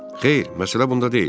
Xeyr, məsələ bunda deyil.